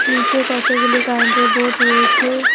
নীচে কতগুলি কারেন্টের বোর্ড রয়েছে।